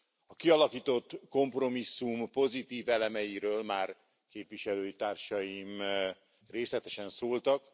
A kialakított kompromisszum pozitív elemeiről már képviselőtársaim részletesen szóltak.